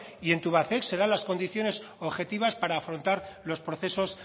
y tubacex se dan las condiciones objetivas para afrontar los procesos